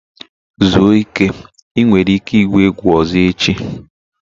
Zuo ike, ị nwere ike igwu egwu ọzọ echi!